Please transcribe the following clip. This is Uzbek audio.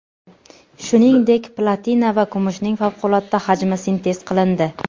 Shuningdek, platina va kumushning favqulodda hajmi sintez qilindi.